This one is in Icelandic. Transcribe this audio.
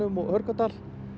og Hörgárdal